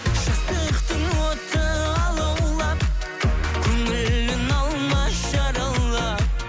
жастықтың оты алаулап көңілін алма жаралап